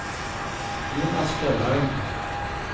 Jonas Fjellheim